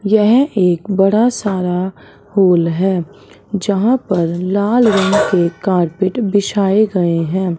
यह एक बड़ा सारा हॉल है जहां पर लाल रंग के कारपेट बिछाए गए हैं।